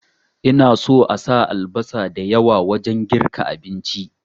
Ina so asa albasa da yawa wajen girka abinci